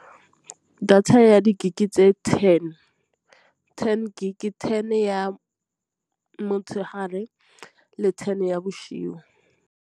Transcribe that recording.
Data ya di-gig tse ten, ten gig ten ya motshegare le ten ya bosigo.